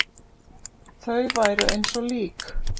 Þau væru eins og lík.